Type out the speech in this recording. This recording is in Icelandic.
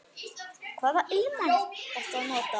Hvaða ilmvatn ertu að nota?